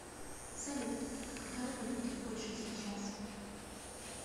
салют а какая валюта в польше сейчас